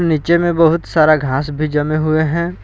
नीचे में बहुत सारा घास भी जमे हुए हैं।